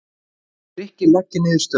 Grikkir leggja niður störf